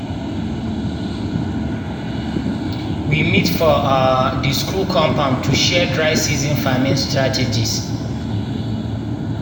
we meet for um di school compound to share dry-season farming strategies.